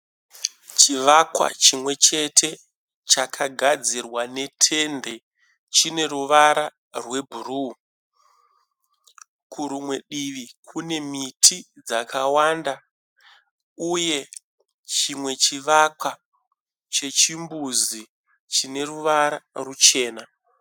Chivakwa chimwechete chakagadzirwa ne tende. Chine ruvara rwe bhuruu. Kurumwe divi Kune miti dzakawanda uye chimwe chivakwa chechimbuzi chine ruvara ruchena.